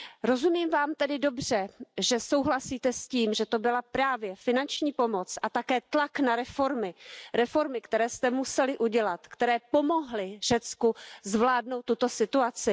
Rozumím Vám tedy dobře, že souhlasíte s tím, že to byla právě finanční pomoc a také tlak na reformy, které jste museli udělat, které pomohly Řecku zvládnout tuto situaci?